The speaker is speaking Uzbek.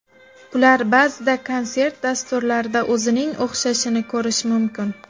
Ular ba’zida konsert-dasturlarida o‘zining o‘xshashini ko‘rish mumkin.